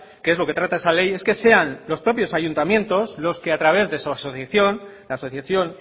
que es lo que trata esa ley es que sean los propios ayuntamientos los que a través de su asociación la asociación